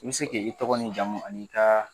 I bɛ se k'i tɔgɔ n'i jamu an'i ka